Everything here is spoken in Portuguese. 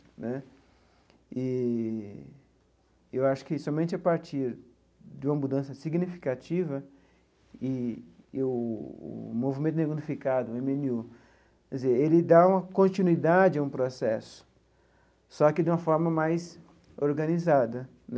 Né eee eu acho que somente a partir de uma mudança significativa e e o movimento negro unificado, o eme ene u, quer dizer ele dá uma continuidade a um processo, só que de uma forma mais organizada.